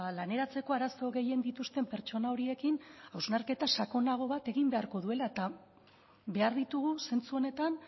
laneratzeko arazo gehien dituzten pertsona horiekin hausnarketa sakonago bat egin beharko duela eta behar ditugu zentzu honetan